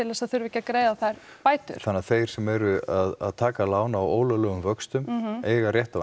þess að þurfa ekki að greiða þær bætur þannig að þeir sem eru að taka lán á ólöglegum vöxtum eiga rétt á